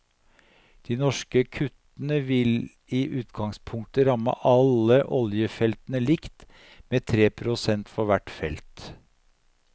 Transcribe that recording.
De norske kuttene vil i utgangspunktet ramme alle oljefeltene likt, med tre prosent for hvert felt.